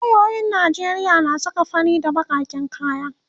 loyoyin Najeriya na saka fari na bakaken kaya